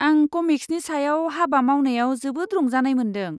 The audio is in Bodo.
आं कमिक्सनि सायाव हाबा मावनायाव जोबोद रंजानाय मोन्दों।